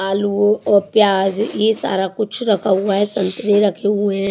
आलू ओ और प्याज ये सारा कुछ रखा हुआ है संतरे रखे हुए हैं।